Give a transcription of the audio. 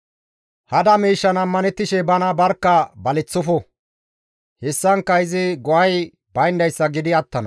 Hada miishshan ammanettishe bana barkka baleththofo; hessankka izi go7ay bayndayssa gidi attana.